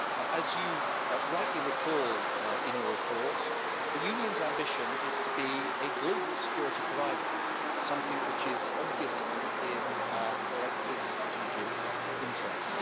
As you rightly recall in your report, the Union's ambition is to be a global security provider, something which is obviously in our collective strategic interest.